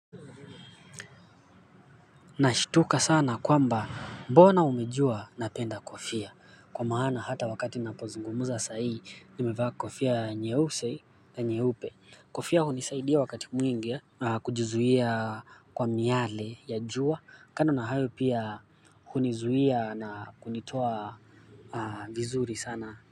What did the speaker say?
Nashtuka sana kwamba mbona umejua napenda kofia kwa maana hata wakati ninapozungumza sahii nimevaa kofia nyeusi na nyeupe kofia hunisaidia wakati mwingi kujuzuia kwa miale ya jua, kando na hayo pia hunizuia na kunitoa vizuri sana.